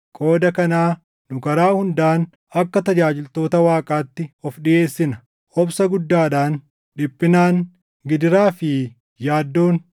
Qooda kanaa nu karaa hundaan akka tajaajiltoota Waaqaatti of dhiʼeessina; obsa guddaadhaan, dhiphinaan, gidiraa fi yaaddoon,